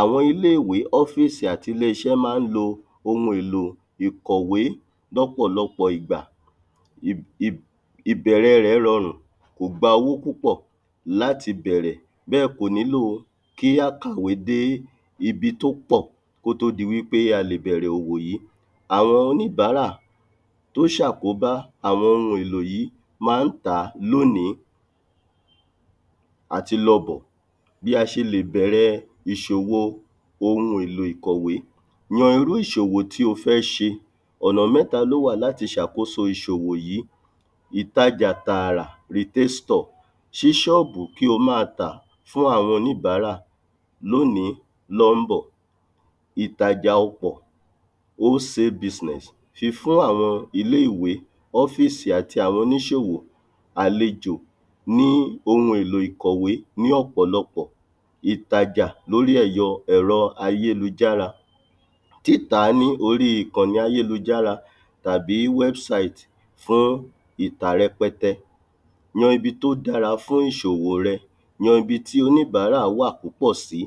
àwọn ilé-ìwé, ófísì àti ilé-iṣẹ́ ma n lo ohun èlò ìkọ̀wé lọ́pọ̀lọ́pọ̀ ìgbà, ìb ìb ìbẹ̀rẹ̀ rẹ̀ rọrùn, kò gba owó púpọ̀ láti bẹ̀rẹ̀ bẹ́ẹ̀ kò nílòo kí á kàwé dé ibi tó pò, kó tó di wípé a lè bẹ̀rẹ̀ òwò yí. àwọn oníbárà tó ṣàkóbá àwọn ohun èlò yí ma ń tàá lónìí àti lọ bọ̀. bí a ṣe lè bẹ̀rẹ̀ ìṣòwo ohun èlò ìkọ̀wé. yan irú ìṣòwò tí o fẹ́ ṣe, ọ̀nà mẹ́ta ló wà láti ṣàkóso ìṣòwò yìí ìtajà tààrà ṣí ṣọ́ọ́bù kí o máa tà fún àwọn oníbárà, lónìí lọ́n bọ̀ ìtajà ọpọ̀, sí fún àwọn ilé-ìwé, ófísì àti oníṣòwò, àlejò ní ohun èlò ìkọ̀wé ní ọ̀pọ̀lọpọ̀ ìtajà lóri ẹ̀yọ ẹ̀rọ ayélujára, títàa ní orí ìkàní ayélujára tàbí fún ìtà rẹpẹtẹ yan ibi tó dára fún ìṣòwò rẹ̀, yan ibi tí oníbárà púpọ̀ sí,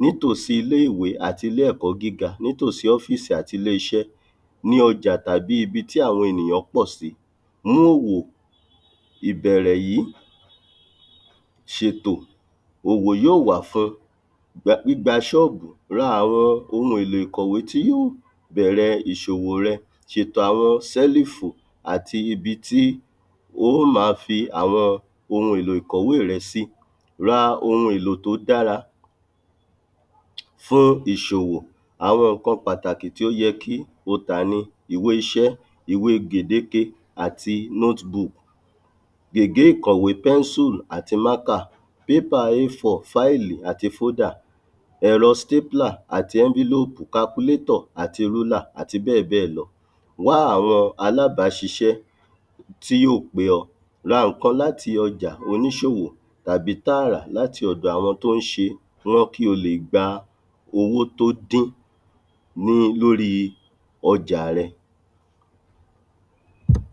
nítòsí ilé-ìwé àti ilé-ẹ̀kọ́ gíga, nítòsí ófísì àti ilé-iṣẹ́ ọjà tàbí ibi tí àwọn ènìyàn pọ̀ sí, mú òwò ìbẹ̀rẹ̀ yìí ṣètò, òwò yóò wà fún-un, gbígba ṣọ́ọ́bù, ra àwọn ohun èlò ìkọ̀wé tí yóò bẹ̀rẹ̀ ìṣòwò rẹ ṣètò àwọn sẹ́lífò àti ibi tí oó ma fi àwọn ohun èlò ìkọ̀wé rẹ sí, ra ohun èlò tó dára fún ìṣòwò, àwọn ǹkan pàtàkì tí ó yẹ kí o tà ni ìwé-iṣẹ́, ìwé-gèdéke àti gègé ìkọ̀wé, àti ẹ̀rọ àti àti bẹ́ẹ̀bẹ́ẹ̀ lọ wá àwọn alábáṣiṣẹ́ tí yóò pé ọ, ra ǹkan láti ọjà oníṣòwò tàbí tààrà láti ọ̀dọ̀ àwọn tó ń ṣe wọ́n kí o lè gba owó tó dín ní lóri ọjà rẹ